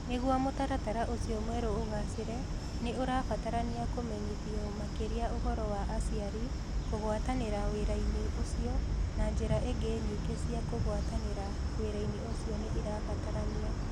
Nĩguo mũtaratara ũcio mwerũ ũgaacĩre, nĩ ũrabatarania kũmenyithio makĩria ũhoro wa aciari kũgwatanĩra wĩra-inĩ ũcio, na njĩra ingĩ nyingĩ cia kũgwatanĩra wĩra-inĩ ũcio nĩ irabatarania.